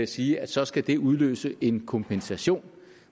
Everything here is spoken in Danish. sige at så skal det udløse en kompensation